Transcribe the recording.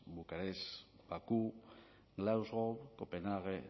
bucarest bakú glasgow copenhague